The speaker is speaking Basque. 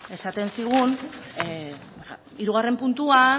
esaten zigun hirugarren puntuan